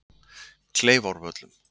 Kleifárvöllum